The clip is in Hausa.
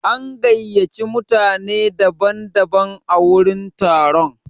An gayyaci mutane daban daban a wurin taron.